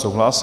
Souhlas.